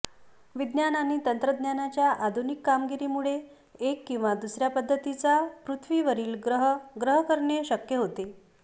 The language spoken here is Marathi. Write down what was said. विज्ञान आणि तंत्रज्ञानाच्या आधुनिक कामगिरीमुळे एक किंवा दुसर्या पद्धतीचा पृथ्वीवरील ग्रह ग्रह करणे शक्य होते